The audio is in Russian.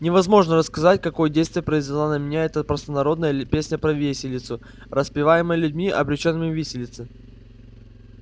невозможно рассказать какое действие произвела на меня эта простонародная песня про виселицу распеваемая людьми обречёнными виселице